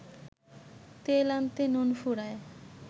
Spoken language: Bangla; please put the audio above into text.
তেল আনতে নুন ফুরায়